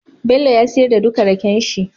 Bello ya siyar da duka rakenshi